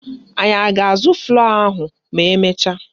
Anyị a ga-azụ flọ́ọ̀ ahụ ma emecha?